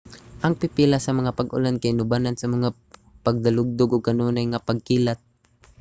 ang pipila sa mga pag-ulan kay inubanan sa mga pagdalugdog ug kanunay nga pagkilat